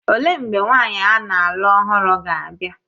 Olee mgbe nwaanyị a na-alụ ọhụrụ ga-abịa?